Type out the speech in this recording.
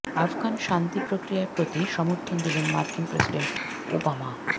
আফগান শান্তি প্রক্রিয়ার প্রতি সমর্থন দিলেন মার্কিন প্রেসিডেন্ট ওবামা